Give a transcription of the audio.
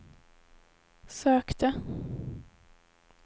sökte